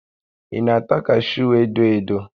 Ị na-ata kashuu edo edo?